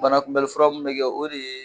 Manakunbɛli fura mun bɛ kɛ o de ye